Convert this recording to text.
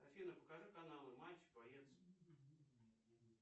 афина покажи каналы матч боец